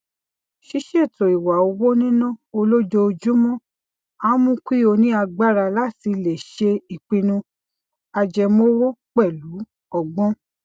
ṣiṣeto iwa owo nina olojoojúmó a mu ki o ni agbara lati le ṣe ipinnu ajẹmowo pẹlu ọgbọn